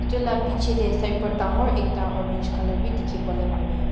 itu laga piche te sign board dangor ekta orange color bi dikhibole pare.